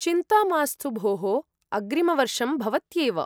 चिन्ता मास्तु भोः, अग्रिमवर्षं भवत्येव।